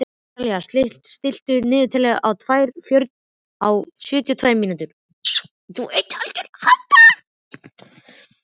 Salína, stilltu niðurteljara á sjötíu og tvær mínútur.